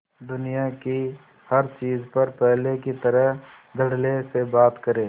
दुनिया की हर चीज पर पहले की तरह धडल्ले से बात करे